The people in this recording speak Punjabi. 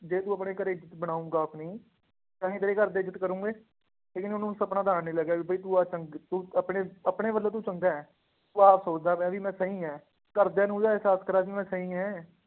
ਜੇ ਤੂੰ ਆਪਣੇ ਘਰੇ ਇੱਜਤ ਬਣਾਊਂਗਾ ਆਪਣੀ ਤਾਂ ਹੀ ਤੇਰੇ ਘਰਦੇ ਇੱਜਤ ਕਰਨਗੇ, ਠੀਕ ਨੀ ਉਹਨੂੰ ਸਪਨਾ ਤਾਂ ਆਉਣ ਨੀ ਲੱਗਿਆ ਵੀ ਬਾਈ ਤੂੰ ਆਹ ਚੰਗ ਤੂੰ ਆਪਣੇ ਆਪਣੇ ਵੱਲੋਂ ਤੂੰ ਚੰਗਾ ਹੈ, ਤੂੰ ਆਪ ਸੋਚਦਾ ਪਿਆਂ ਵੀ ਮੈਂ ਸਹੀ ਹੈ, ਘਰਦਿਆਂ ਨੂੰ ਇਹਦਾ ਇਹਸਾਸ ਕਰਵਾ ਵੀ ਮੈਂ ਸਹੀ ਹੈਂ